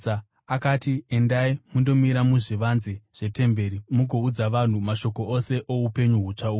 akati, “Endai, mundomira muzvivanze zvetemberi, mugoudza vanhu mashoko ose oupenyu hutsva uhu.”